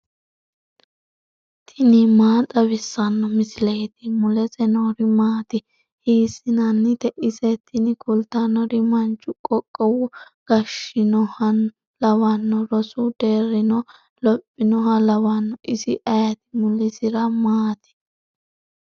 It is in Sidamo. tini maa xawissanno misileeti ? mulese noori maati ? hiissinannite ise ? tini kultannori manchu qoqowo gashshinohano lawanno rosu deerrinnino lophinoha lawanno isi ayeti mulisiri maati